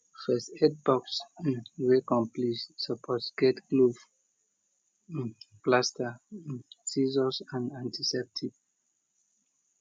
first aid box wey complete suppose get glove plaster scissors and antiseptic